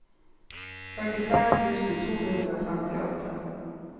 førtiseks tusen to hundre og femtiåtte